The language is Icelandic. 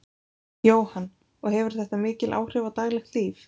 Jóhann: Og hefur þetta mikil áhrif á daglegt líf?